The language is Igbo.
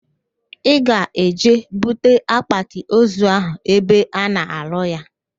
Ị ga-eje bute akpatịozu ahụ ebe a na-arụ ya?